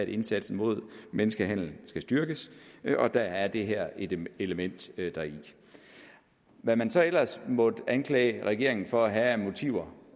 indsatsen mod menneskehandel skal styrkes og der er det her et element deri hvad man så ellers måtte anklage regeringen for at have af motiver